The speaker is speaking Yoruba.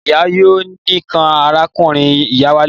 Ìyá yóò ní kí arákùnrin-ìyá wálé.